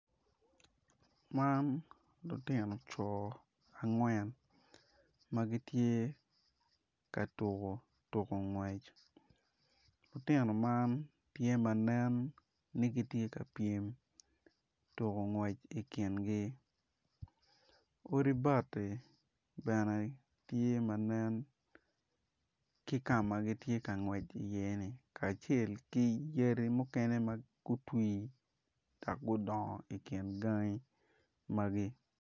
Man lutino coo angwen ma gitye ka tuku tuko ngwec lutino man tye ka nen ma ni gitye ka pyem tuko ngwec ikingi odi bati bene tye manen ki kama gitye ka ngwec i iye ni kacel ki yadi mukene ma otwi dok gudongo ikin gangi magi